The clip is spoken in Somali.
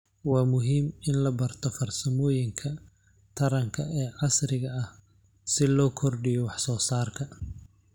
Waa muhiim in la barto farsamooyinka taranka ee casriga ah si loo kordhiyo wax soo saarka.